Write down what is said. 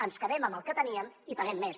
ens quedem amb el que teníem i paguem més